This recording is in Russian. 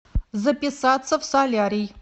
записаться в солярий